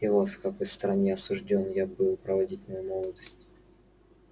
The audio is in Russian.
и вот в какой стороне осуждён я был проводить мою молодость